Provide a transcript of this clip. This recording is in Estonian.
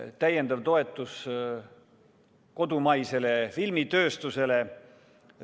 Täiendav toetus kodumaisele filmitööstusele.